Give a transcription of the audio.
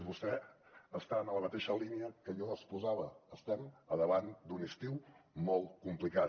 vostè està en la mateixa línia que jo exposava estem a davant d’un estiu molt complicat